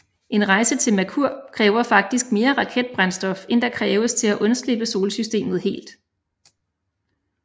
En rejse til Merkur kræver faktisk mere raketbrændstof end der kræves til at undslippe solsystemet helt